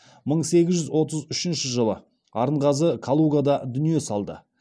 мың сегіз жүз отыз үшінші жылы арынғазы калугада дүние салды